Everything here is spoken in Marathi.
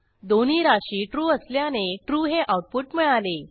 दोन्ही राशी ट्रू असल्याने ट्रू हे आऊटपुट मिळाले